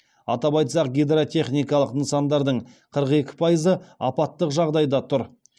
атап айтсақ гидротехникалық нысандардың қырық екі пайызы апаттық жағдайда тұр